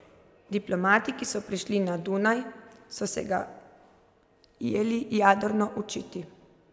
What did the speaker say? Diplomati, ki so prišli na Dunaj, so se ga jeli jadrno učiti.